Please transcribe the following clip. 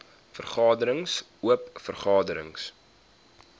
vergaderings oop vergaderings